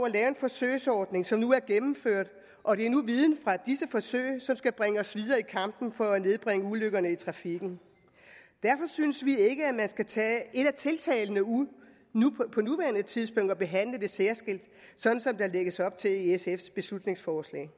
at lave en forsøgsordning som nu er gennemført og det er nu viden fra disse forsøg som skal bringe os videre i kampen for at nedbringe antallet af ulykker i trafikken derfor synes vi ikke at man skal tage et af tiltagene ud på nuværende tidspunkt og behandle det særskilt sådan som der lægges op til i sfs beslutningsforslag